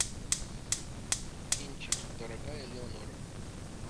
кинчик дорогая элеонора